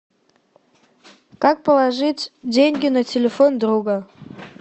как положить деньги на телефон друга